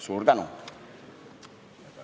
Suur tänu!